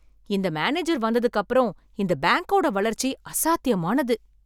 இந்த மேனேஜர் வந்ததுக்கு அப்புறம் இந்த பேங்கோட வளர்ச்சி அசாத்தியமானது!